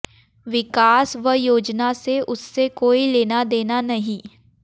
विकास व योजना से उससे कोई लेना देना नहीं